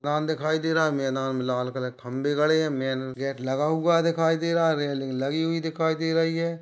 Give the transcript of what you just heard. मैदान दिखाई दे रहा है मैदान मे लाल कलर के खंबे गड़े है मेन गेट लगा हुआ दिखाई दे रहा है रेलिंग लगी हुई दिखाई दे रही है।